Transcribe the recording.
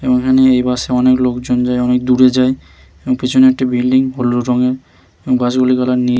এইখানে এই বাস -এ অনেক লোকজন যায় অনেক দূরে যায় এবং পিছনে একটি বিল্ডিং হলুদ রঙের এবং বাস -গুলির কালার নী--